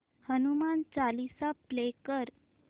Hanuman Chalisa play कर